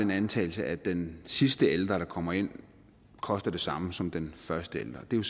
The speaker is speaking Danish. man antager at den sidste ældre der kommer ind koster det samme som den første ældre det er